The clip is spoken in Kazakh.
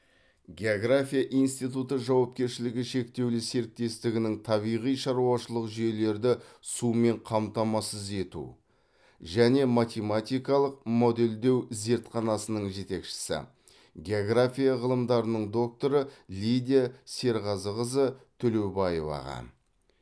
география институты жауапкершілігі шектеулі серіктестігінің табиғи шаруашылық жүйелерді сумен қамтамасыз ету және математикалық модельдеу зертханасының жетекшісі география ғылымдарының докторы лидия серғазықызы төлеубаеваға